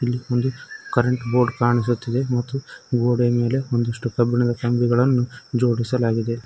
ಇಲಿ ಒಂದು current board ಕಾಣಿಸುತ್ತದೆ ಗೋಡೆಯ ಮೇಲೆ ಒಂದಿಷ್ಟು ಕಂಬಿಗಳನ್ನು ಜೋಡಿಸಲಾಗಿದೆ.